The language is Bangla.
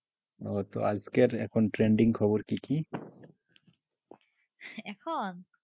আজকের এখন trending খবর কি কি?